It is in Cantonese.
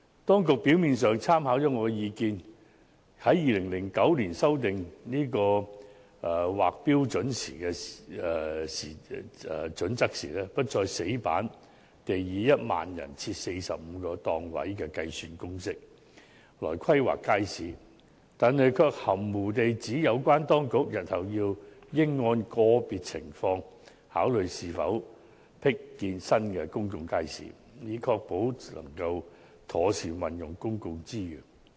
當局表面上參考了我的建議，於2009年修訂《規劃標準》時，不再死板地以每1萬人設45個檔位的計算公式來規劃街市，但卻含糊地指"日後應按個別情況考慮是否闢建新公眾街市，以確保妥善運用公共資源"。